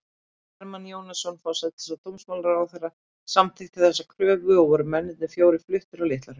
Hermann Jónasson, forsætis- og dómsmálaráðherra, samþykkti þessa kröfu, og voru mennirnir fjórir fluttir á Litlahraun.